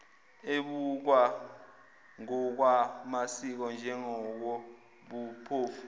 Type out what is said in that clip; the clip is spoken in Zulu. ebukwa ngokwamasiko njengokobuphofu